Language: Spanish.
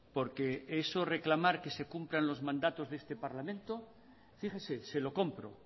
porque eso reclamar que se cumplan los mandatos de este parlamento fíjese se lo compro